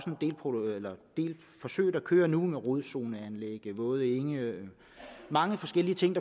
en del forsøg der kører nu med rodzoneanlæg våde enge og mange forskellige ting